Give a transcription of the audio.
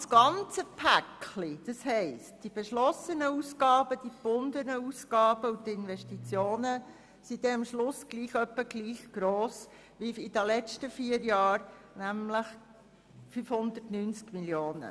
Das ganze Paket, das heisst die beschlossenen Ausgaben, die gebundenen Ausgaben und die Investitionen, betragen am Schluss etwa gleich viel wie in den vier Jahren, nämlich 590 Mio. Franken.